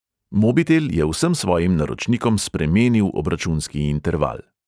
Mobitel je vsem svojim naročnikom spremenil obračunski interval.